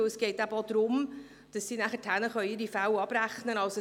Denn es geht eben auch darum, dass sie ihre Fälle auch abrechnen können.